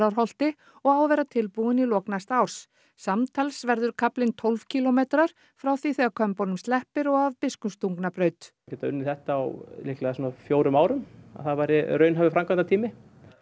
Gljúfrárholti og á að vera tilbúinn í lok næsta árs samtals verður kaflinn tólf kílómetrar frá því þegar Kömbunum sleppir og að Biskupstungnabraut geta unnið þetta á líklega svona fjórum árum það væri raunhæfur framkvæmdatími